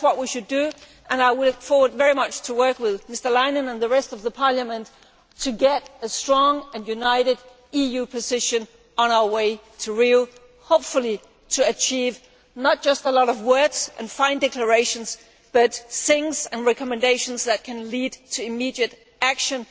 That is what we should do, and I look forward very much to working with Mr Leinen and the rest of the Parliament to get a strong and united EU position on our way to Rio hopefully to achieve not just a lot of words and fine declarations, but things and recommendations that can lead to immediate action